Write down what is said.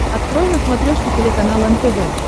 открой на смотрешке телеканал нтв